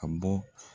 A bɔ